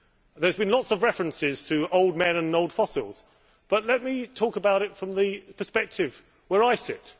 There have been lots of references to old men and old fossils, but let me talk about it from the perspective where I sit.